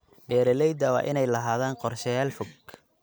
Beeralayda waa inay lahaadaan qorshayaal fog.